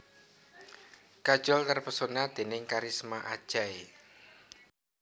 Kajol terpesona déning kharisma Ajay